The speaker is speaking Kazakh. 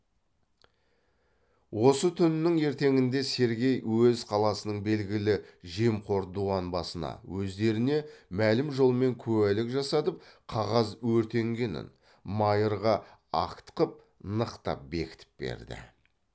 осы түнінің ертеңінде сергей өз қаласының белгілі жемқор дуан басына өздеріне мәлім жолмен куәлік жасатып қағаз өртенгенін майырға акт қып нықтап бекітіп берді